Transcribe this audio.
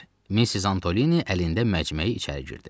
Missis Antoni əlində məcməyi içəri girdi.